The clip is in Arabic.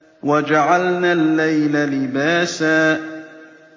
وَجَعَلْنَا اللَّيْلَ لِبَاسًا